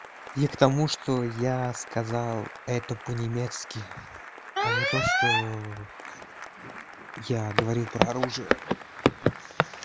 я к тому что я сказал это по-немецки а не то что я говорил про оружие